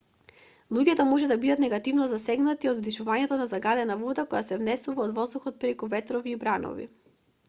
луѓето може да бидат негативно засегнати од вдишувањето на загадена вода која се внесува од воздухот преку ветрови и бранови